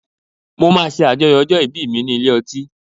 Mo máa ṣe àjọyọ̀ ọjọ́ ìbí mi ní ilé ọtí.